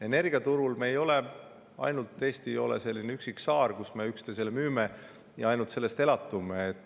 Energiaturul ei ole Eesti selline üksik saar, kus me üksteisele müüme ja ainult sellest elatume.